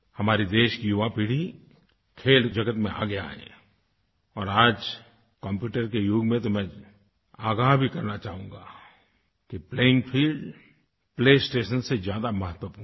हमारी देश की युवा पीढ़ी खेल जगत में आगे आए और आज कम्प्यूटर के युग में तो मैं आगाह भी करना चाहूँगा कि प्लेइंग फील्ड प्लेस्टेशन से ज्यादा महत्वपूर्ण है